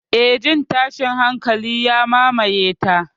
Eh, jin tashin hankali ya mamaye ta.